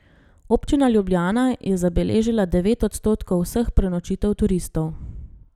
Občina Ljubljana je zabeležila devet odstotkov vseh prenočitev turistov.